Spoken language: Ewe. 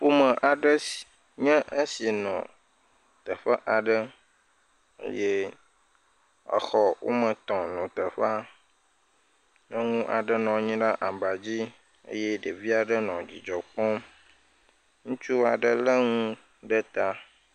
Ƒome aɖe nye esi nɔ teƒe aɖe eye exɔ woame etɔ̃ nɔ teƒea, nyɔnu aɖe nɔ anyi ɖe aba dzi eye ɖevi aɖe nɔ dzi dzɔ kpɔm eye ŋutsu lé na ne ɖe ta.